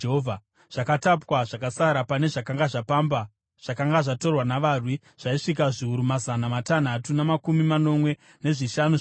Zvakatapwa zvakasara pane zvavakapamba zvakanga zvatorwa navarwi zvaisvika zviuru mazana matanhatu namakumi manomwe nezvishanu zvamakwai,